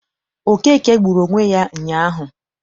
Okeke gburu onwe ya ụnyaahụ.